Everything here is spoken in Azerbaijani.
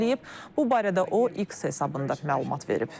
Bu barədə o X hesabında məlumat verib.